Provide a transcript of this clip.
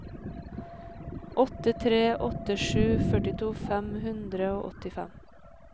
åtte tre åtte sju førtito fem hundre og åttifem